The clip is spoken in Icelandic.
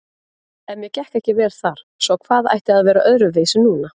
En mér gekk ekki vel þar, svo hvað ætti að vera öðruvísi núna?